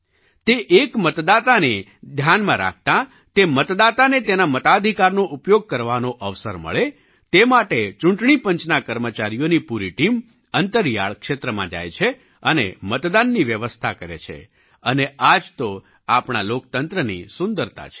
તે એક મતદાતાને ધ્યાનમાં રાખતા તે મતદાતાને તેના મતાધિકારનો ઉપયોગ કરવાનો અવસર મળે તે માટે ચૂંટણી પંચના કર્મચારીઓની પૂરી ટીમ અંતરિયાળ ક્ષેત્રમાં જાય છે અને મતદાનની વ્યવસ્થા કરે છે અને આ જ તો આપણા લોકતંત્રની સુંદરતા છે